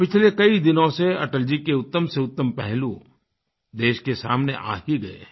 पिछले कई दिनों से अटल जी के उत्तम से उत्तम पहलू देश के सामने आ ही गए हैं